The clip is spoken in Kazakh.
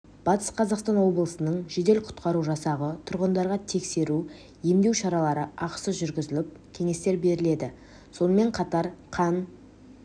батыс қазақстан облысының жедел-құтқару жасағы тұрғындарға тексеру емдеу шаралары ақысыз жүргізіліп кеңестер беріледі сонымен қатар қан